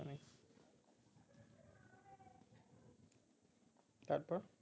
তারপর